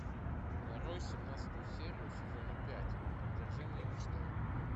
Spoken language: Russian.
нарой семнадцатую серию сезона пять одержимые мечтой